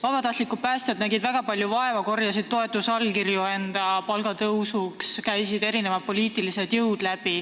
Vabatahtlikud päästjad nägid väga palju vaeva, korjasid toetusallkirju enda palgatõusuks, käisid läbi erinevad poliitilised jõud.